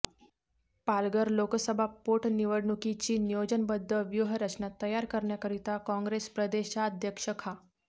पालघर लोकसभा पोटनिवडणुकीची नियोजनबध्द व्यूहरचना तयार करण्याकरिता काँग्रेस प्रदेशाध्यक्ष खा